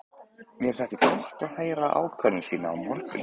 Mér þætti gott að heyra ákvörðun þína á morgun.